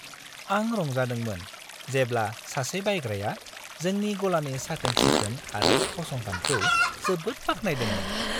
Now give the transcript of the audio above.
आं रंजादोंमोन जेब्ला सासे बायग्राया जोंनि गलानि साखोन-सिखोन आरो फसंथानखौ जोबोद बाख्नायदोंमोन।